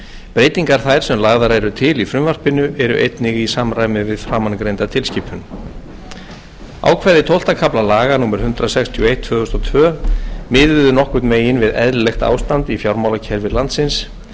breytingar þær sem lagðar eru til í frumvarpinu eru einnig í samræmi við framangreinda tilskipun ákvæði tólfta kafla laga númer hundrað sextíu og eitt tvö þúsund og tvö miðuðu nokkurn veginn við eðlilegt ástand í fjármálakerfi landsins